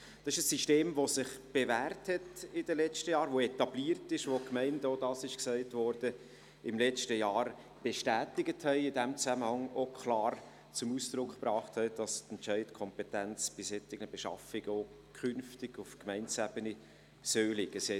Das ist ein System, das sich in den letzten Jahren bewährt hat, das etabliert ist, das die Gemeinden – auch das wurde gesagt – im letzten Jahr bestätigt und in diesem Zusammenhang auch klar zum Ausdruck gebracht haben, dass die Entscheidungskompetenz bei solchen Beschaffungen auch künftig auf Gemeindeebene liegen soll.